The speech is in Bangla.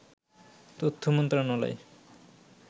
তথ্য মন্ত্রণালয়